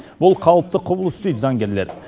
бұл қалыпты құбылыс дейді заңгерлер